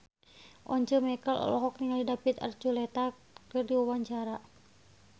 Once Mekel olohok ningali David Archuletta keur diwawancara